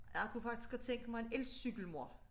Jeg kunne faktisk godt tænke mig en elcykel mor